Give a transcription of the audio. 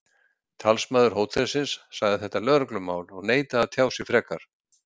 Talsmaður hótelsins sagði þetta lögreglumál og neitaði að tjá sig frekar.